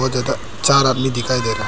चार आदमी दिखाई दे रहे।